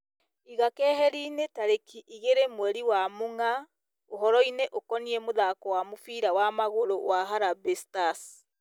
iga keheri-inĩ tarĩki igĩrĩ mweri wa mũgaa ũhoro-inĩ ũkoniĩ mũthako wa mũbira wa magũrũ wa harambee stars